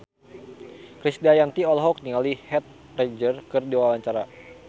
Krisdayanti olohok ningali Heath Ledger keur diwawancara